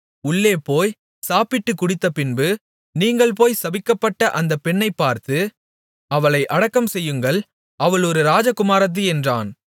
உள்ளேபோய் சாப்பிட்டுக் குடித்த பின்பு நீங்கள் போய் சபிக்கப்பட்ட அந்த பெண்ணைப் பார்த்து அவளை அடக்கம் செய்யுங்கள் அவள் ஒரு ராஜகுமாரத்தி என்றான்